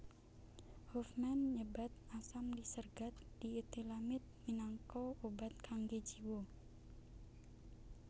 Hofmann nyebat asam lisergat dietilamid minangka obat kanggé jiwa